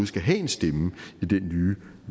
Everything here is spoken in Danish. skal have en stemme i den nye